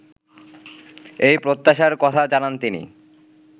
এই প্রত্যাশার কথা জানান তিনি